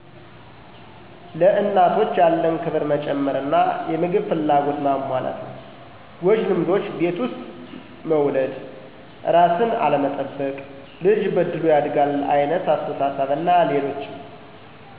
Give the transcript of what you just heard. ለእናቶች ያለን ክብር መጨመር አና የምግብ ፍላጎትን ማሟላት ነው። ጎጂ ልምዶች ቤት ውስጥ መውለድ ;እራስን አለመጠበቅ; ልጅ በእድሉ ያድጋል አይነት አስተሣሠብ አና ሌሎችም